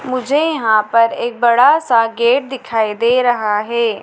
मुझे यहां पर एक बड़ा सा गेट दिखाई दे रहा है।